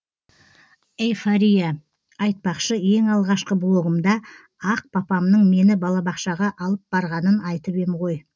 эйфория айтпақшы ең алғашқы блогымда ақ папамның мені балабақшаға алып барғанын айтып ем ғой